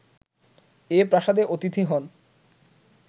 এই প্রাসাদে অতিথি হন